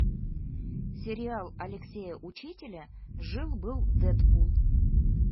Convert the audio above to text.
сериал алексея учителя жил был дэдпул